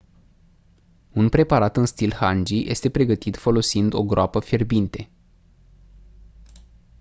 un preparat în stil hangi este pregătit folosind o groapă fierbinte